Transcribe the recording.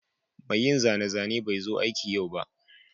mai yin zane-zane bai zo aiki yau ba